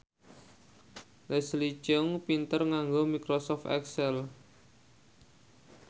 Leslie Cheung pinter nganggo microsoft excel